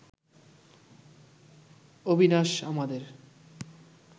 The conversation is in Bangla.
অবিনাশ আমাদের